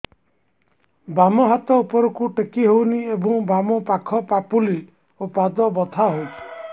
ବାମ ହାତ ଉପରକୁ ଟେକି ହଉନି ଏବଂ ବାମ ପାଖ ପାପୁଲି ଓ ପାଦ ବଥା ହଉଚି